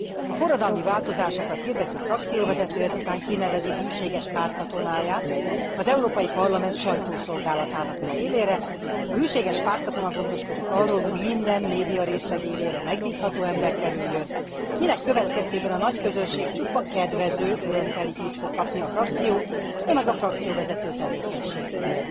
A forradalmi változásokat hirdető frakcióvezető ezután kinevezi hűséges pártkatonáját az Európai Parlament sajtószolgálatának az élére, a hűséges pártkatona gondoskodik arról, hogy minden médiarészleg élére megbízható ember kerüljön, minek következtében a nagyközönség csupa kedvező, örömteli hírt fog kapni a frakció, no meg a frakcióvezető tevékenységéről.